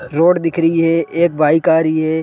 Road दिख रही है एक बाइक आ रही है ।